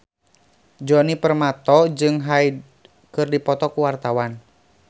Djoni Permato jeung Hyde keur dipoto ku wartawan